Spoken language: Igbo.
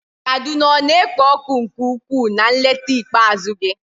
Kaduna ọ na-ekpo ọkụ nke ukwuu na nleta ikpeazụ gị?